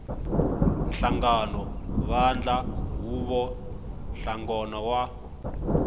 nhlangano vandla huvo nhlangano wo